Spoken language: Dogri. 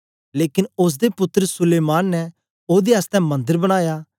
लेकन ओसदे पुत्तर सुलैमान ने ओदे आसतै मन्दर बनाया